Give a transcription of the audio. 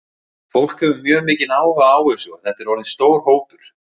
Fólk hefur mjög mikinn áhuga á þessu og þetta er orðinn stór hópur?